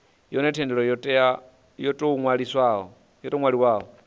hone thendelo yo tou ṅwaliwaho